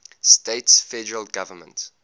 states federal government